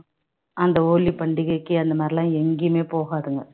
அந்த ஹோலி பண்டிகைக்கு அந்த மாதிரி எல்லாம் எங்கேயுமே போகாதுங்க